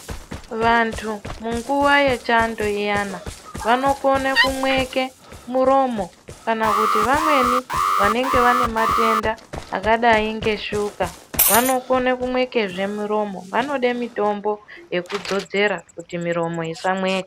Vantu munguwa yechando iyani vanokone kumweke muromo kana kuti vamweni vane matenda akadai ngeshuka vanokone kumwekazve muromo vanode mitombo yekudzodzera kuti muromo isamweka.